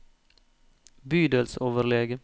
bydelsoverlege